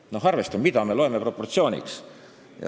Me peame kokku leppima, mida me loeme proportsiooniks.